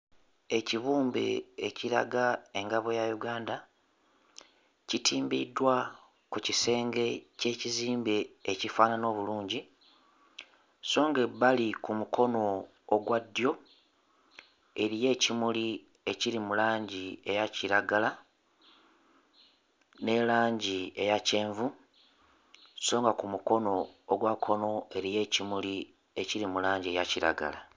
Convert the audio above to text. Ekibumbe ekiraga engabo ya Uganda kitimbiddwa ku kisenge ky'ekizimbe ekifaanana obulungi so ng'ebbali ku mukono ogwa ddyo eriyo ekimuli ekiri mu langi eya kiragala ne langi eya kyenvu so nga ku mukono ogwa kkono eriyo ekimuli ekiri mu langi eya kiragala.